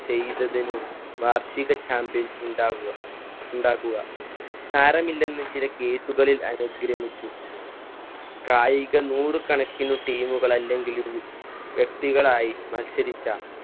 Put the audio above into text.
ചെയ്തതിനും വാർഷിക champion ഉണ്ടാകുക. ഉണ്ടാക്കുക. സാരമില്ലെന്ന് ചില case കളിൽ അനുഗ്രമിച്ചു. കായിക നൂർ കണക്കിന് team കൾ അല്ലെങ്കിലും വ്യക്തികളായി മത്സരിച്ച